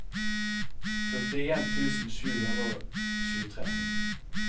førtien tusen sju hundre og tjuetre